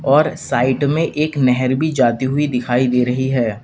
और साइड में एक नहर भी जाती हुई दिखाई दे रही है।